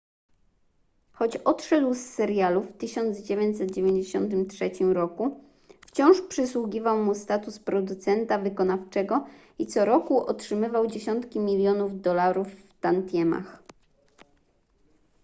choć odszedł z serialu w 1993 roku wciąż przysługiwał mu status producenta wykonawczego i co roku otrzymywał dziesiątki milionów dolarów w tantiemach